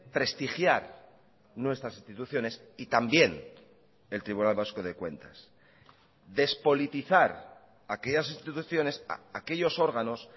prestigiar nuestras instituciones y también el tribunal vasco de cuentas despolitizar aquellas instituciones aquellos órganos